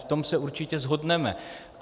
V tom se určitě shodneme.